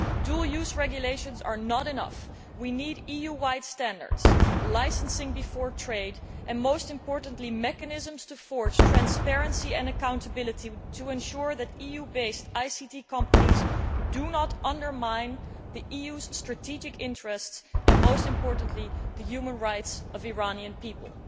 Dual use regulations are not enough we need EU wide standards, licensing before trade and, most importantly, mechanisms to forge transparency and accountability to ensure that EU based ICT companies do not undermine the EU's strategic interests and, most importantly, the human rights of Iranian people.